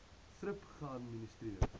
thrip geadministreer